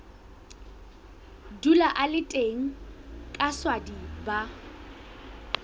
dula a le teng kaswadi ba